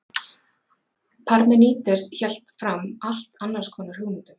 Parmenídes hélt fram allt annars konar hugmyndum.